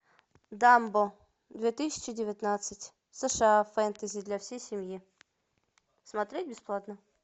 дамбо две тысячи девятнадцать сша фэнтези для всей семьи смотреть бесплатно